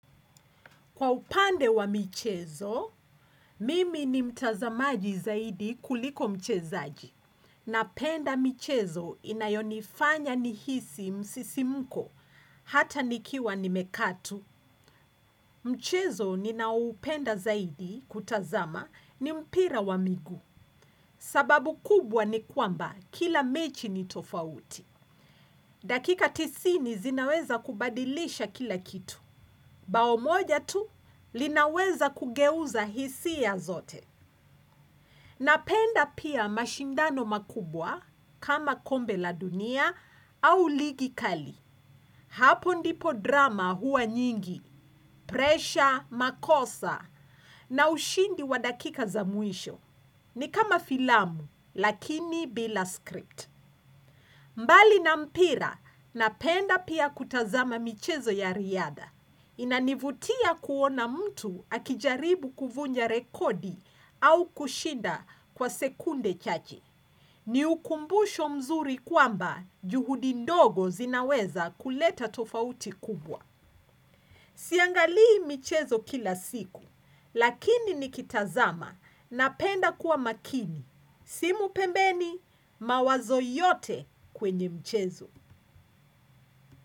Kwa upande wa michezo, mimi ni mtazamaji zaidi kuliko mchezaji. Napenda michezo inayonifanya nihisi msisimko, hata nikiwa nimekaa tu. Mchezo ninaoupenda sana zaidi kutazama ni mpira wa miguu sababu kubwa ni kwamba kila mechi ni tofauti. Dakika tisini zinaweza kubadilisha kila kitu. Bao moja tu linaweza kugeuza hisia zote. Napenda pia mashindano makubwa kama kombe la dunia au ligi kali. Hapo ndipo drama huwa nyingi, presha, makosa, na ushindi wa dakika za mwisho. Ni kama filamu, lakini bila script. Mbali na mpira, napenda pia kutazama michezo ya riadha. Inanivutia kuona mtu akijaribu kuvunja rekodi au kushinda kwa sekunde chache. Ni ukumbusho mzuri kwamba juhudi ndogo zinaweza kuleta tofauti kubwa. Siangalii michezo kila siku, lakini nikitazama napenda kuwa makini. Simu pembeni, mawazo yote kwenye michezo.